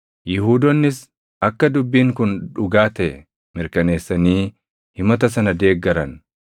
Yihuudoonnis akka dubbiin kun dhugaa taʼe mirkaneessanii himata sana deeggaran.